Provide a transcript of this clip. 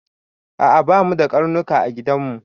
A'a ba mu da ƙarnuƙa a giɗan mu.